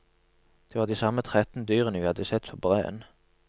Det var de samme tretten dyrene vi hadde sett på breen.